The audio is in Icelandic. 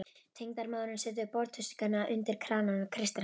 Tengdamóðirin setur borðtuskuna undir kranann og kreistir hana.